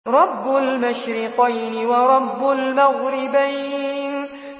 رَبُّ الْمَشْرِقَيْنِ وَرَبُّ الْمَغْرِبَيْنِ